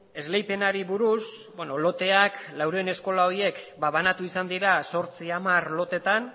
esleipenari buruz loteak laurehun eskola horiek banatu izan dira zortzi hamar lotetan